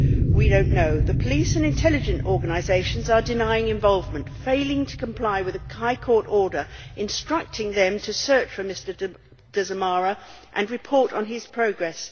We do not know. The police and intelligence organisations are denying involvement and failing to comply with a High Court order instructing them to search for Mr Dzamara and report on his progress.